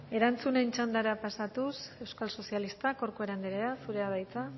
erantzunen txandara pasatuz euskal sozialistak corcuera andrea zurea da hitza